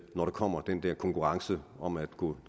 når der kommer den der konkurrence om at gå